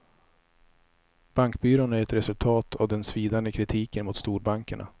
Bankbyrån är ett resultat av den svidande kritiken mot storbankerna.